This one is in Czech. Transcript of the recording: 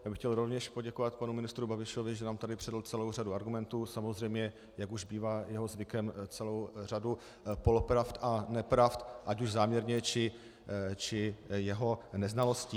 Já bych chtěl rovněž poděkovat panu ministru Babišovi, že nám tady předvedl celou řadu argumentů, samozřejmě jak už bývá jeho zvykem, celou řadu polopravd a nepravd, ať už záměrně, či jeho neznalostí.